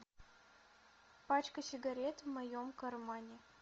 пачка сигарет в моем кармане